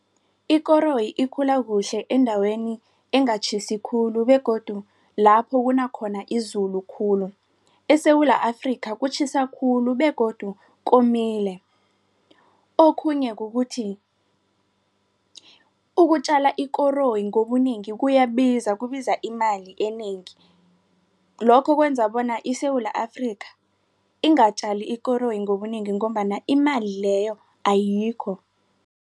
Ikoroyi ikhula kuhle endaweni engatjhisi khulu begodu lapho kunakhona izulu khulu. ESewula Afrika kutjhisa khulu begodu komile. Okhunye kukuthi ukutjala ikoroyi ngobunengi kuyabiza kubiza imali enengi. Lokho kwenza bona iSewula Afrika ingatjali ikoroyi ngobunengi ngombana imali leyo ayikho.